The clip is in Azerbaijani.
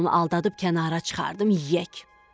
mən onu aldadıb kənara çıxardım yeyək.